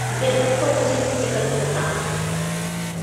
сбер как получить стикосы кота